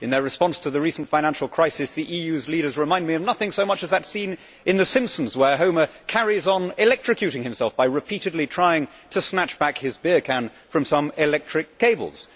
In their response to the recent financial crisis, the EU's leaders remind me of nothing so much as that scene in the Simpsons where Homer carries on electrocuting himself by repeatedly trying to snatch back his beer can from some electric cables.